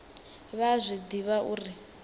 vha a zwi ḓivha uri